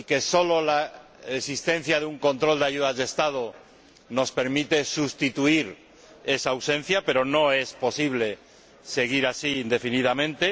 Solo la existencia de un control de ayudas de Estado nos permite subsanar esa ausencia, pero no es posible seguir así indefinidamente.